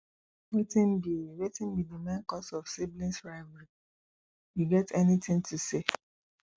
wetin be wetin be di main cause of siblings rivalry you get anything to say